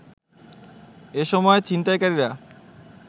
এসময় ছিনতাইকারীরা